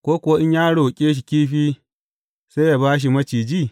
Ko kuwa in ya roƙe shi kifi, sai yă ba shi maciji?